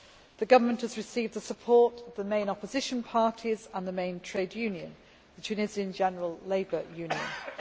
The government has received the support of the main opposition parties and the main trade union the Tunisian General Labour Union.